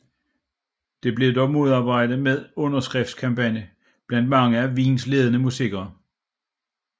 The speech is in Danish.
Det blev dog modarbejdet ved en underskriftskampagne blandt mange af Wiens ledende musikere